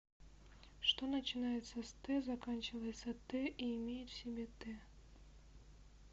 что начинается с т заканчивается т и имеет в себе т